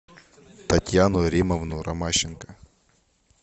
татьяну римовну ромащенко